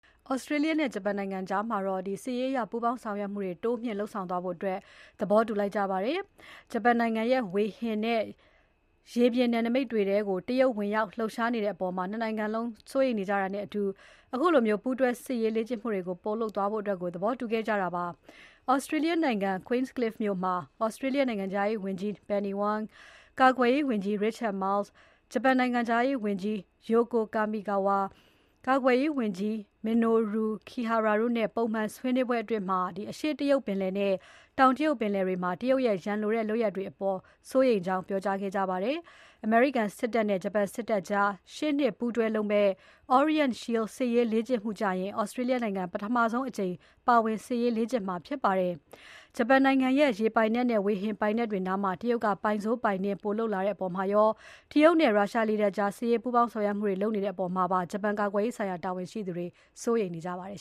ဩစတြေးလျနဲ့ ဂျပန်နိုင်ငံကြား စစ်ရေးလေ့ကျင့်မှုတွေ တိုးမြှင့်လုပ်ဖို့ သဘောတူညီလိုက်ကြပါတယ်။ ဂျပန်နိုင်ငံရဲ့ ဝေဟင်နဲ့ ရေပြင်နယ်နိမိတ်တွေထဲကို တရုတ်ဝင်ရောက် လှုပ်ရှားနေတဲ့အပေါ် ၂ နိုင်ငံလုံး စိုးရိမ်နေကြတာနဲ့အတူ ခုလို ပူးတွဲစစ်ရေးလေ့ကျင့်မှုတွေ ပိုလုပ်သွားဖို့ သဘောတူညီခဲ့ကြတာပါ။ဩစတြေးလျနိုင်ငံ Queenscliff မြို့မှာ ဩစတြေးလျနိုင်ငံခြားရေးဝန်ကြီး Penny Wong, ကာကွယ်ရေးဝန်ကြီး Richard Marles, ဂျပန်နိုင်ငံခြားရေးဝန်ကြီး Yoko Kamikawa, ကာကွယ်ရေးဝန်ကြီး Minoru Kihara တို့နဲ့ ပုံမှန် ဆွေးနွေးပွဲအတွင်း အရှေ့တရုတ်ပင်လယ်နဲ့ တောင်တရုတ်ပင်လယ်တွေထဲမှာ တရုတ်ရဲ့ ရန်လိုတဲ့ လုပ်ရပ်တွေအပေါ် စိုးရိမ်ကြောင်း ပြောကြားခဲ့ကြပါတယ်။ အမေရိကန်စစ်တပ်နဲ့ ဂျပန်စစ်တပ်ကြား ရှေ့နှစ် ပူးတွဲလုပ်မယ့် Orient Shield စစ်ရေးလေ့ကျင့်မှုကျရင် ဩစတြေးလျနိုင်ငံ ပထမဆုံးအကြိမ် ပါဝင်စစ်ရေးလေ့ကျင့်မှာ ဖြစ်ပါတယ်။ ဂျပန်နိုင်ငံရဲ့ ရေပိုင်နက်နဲ့၊ ဝေဟင်ပိုင်နက်တွေနားမှာ တရုတ်က ပိုင်စိုး ပိုင်နင်း ပိုလုပ်လာတဲ့အပေါ်မှာရော၊ တရုတ်နဲ့ ရုရှားလေတပ်ကြား စစ်ရေးပူးပေါင်းဆောင်ရွက်မှုတွေ ပိုလုပ်လာတဲ့ အပေါ်မှာပါ ဂျပန်ကာကွယ်ရေးဆိုင်ရာ တာဝန်ရှိသူတွေ စိုးရိမ်နေကြပါတယ်